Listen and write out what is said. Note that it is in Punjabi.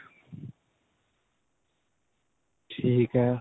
ਠੀਕ ਹੈ.